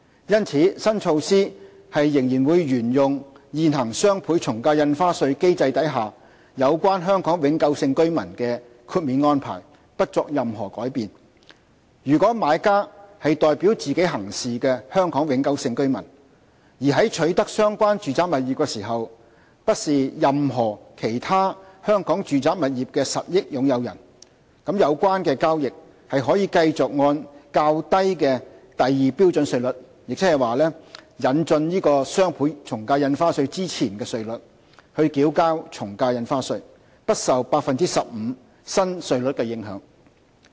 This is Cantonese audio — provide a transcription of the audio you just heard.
因此，新措施仍沿用現行雙倍從價印花稅機制下有關香港永久性居民的豁免安排，不作任何改變：如果買家是代表自己行事的香港永久性居民，而在取得相關住宅物業時不是任何其他香港住宅物業的實益擁有人，有關交易可繼續按較低的第2標準稅率，亦即引進雙倍從價印花稅前的稅率繳交從價印花稅，不受 15% 新稅率的影響。